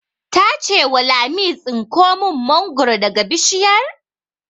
Ta ce wa Lami 'Tsinko mun mangoro daga bishiyar'!